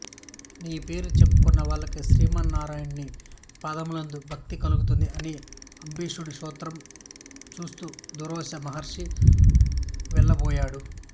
నీ పేరు చెప్పుకున్న వాళ్లకి శ్రీమన్నారాయణుని పాదములయందు భక్తి కలుగుతుంది అని అంబరీషుడిని స్తోత్రం చేస్తూ దుర్వాసో మహర్షి వెళ్ళబోయాడు